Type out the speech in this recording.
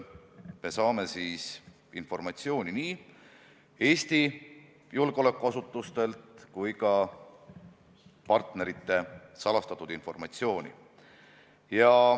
Me saame nii Eesti julgeolekuasutustelt informatsiooni kui ka partneritelt salastatud informatsiooni.